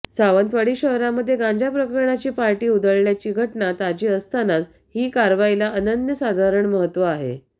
सावंतवाडी शहरामध्ये गांजा प्रकरणाची पार्टी उधळल्याची घटना ताजी असतानाच ही कारवाईला अनन्य साधारण महत्व आहे